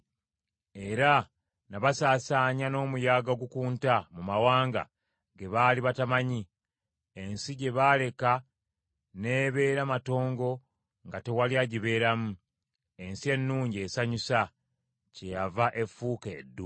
Era nabasaasaanya n’omuyaga ogukunta mu mawanga ge baali batamanyi. Ensi gye baaleka n’ebeera matongo nga tewali agibeeramu, ensi ennungi esanyusa, kyeyava efuuka eddungu.”